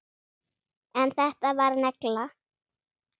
En þetta var negla.